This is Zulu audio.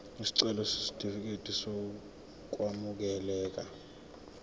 isicelo sesitifikedi sokwamukeleka